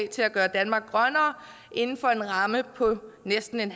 til at gøre danmark grønnere inden for en ramme på næsten